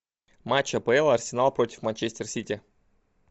матч апл арсенал против манчестер сити